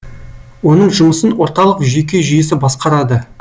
оның жұмысын орталық жүйке жүйесі басқарады